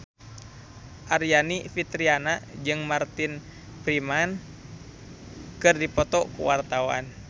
Aryani Fitriana jeung Martin Freeman keur dipoto ku wartawan